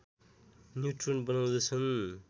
neutron बनाउँदछन्